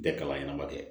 Bɛɛ kalan ɲɛna dɛ